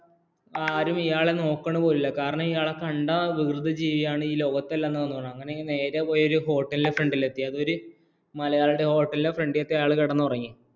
ആരും ഇയാളെ നോക്കുന്ന പോലുമില്ല കാരണം ഇയാളെ കണ്ടാല്‍ വികൃത ജീവിയാണ് ഈ ലോകത്ത് അല്ല എന്ന് നേരെ പോയി ഒരു ഹോട്ടലിന്റെ ഫ്രാണ്ടിലെത്തി അതൊരു മലയാളിയുടെ ഹോട്ടലിന്റെ ഫ്രെണ്ടില്‍പോയി അയാള്‍ കിടന്നു ഉറങ്ങി